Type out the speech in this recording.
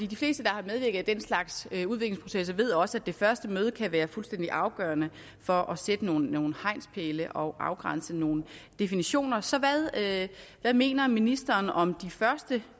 de fleste der har medvirket i den slags udviklingsprocesser ved også at det første møde kan være fuldstændig afgørende for at sætte nogle nogle hegnspæle og afgrænse nogle definitioner så hvad mener ministeren om de første